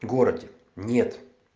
городе нет